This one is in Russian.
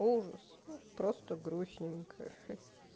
ужас просто грустненько